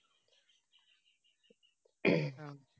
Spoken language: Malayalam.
അ